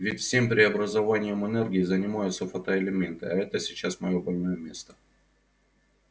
ведь всем преобразованием энергии занимаются фотоэлементы а это сейчас моё больное место